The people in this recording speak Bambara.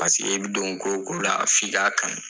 Pasek'i bɛ don ko ko la f'i ka kanu